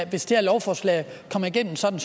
hvis det her lovforslag kommer igennem som